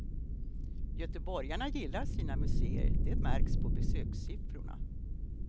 Göteborgarna gillar sina museer, det märks på besökssiffrorna.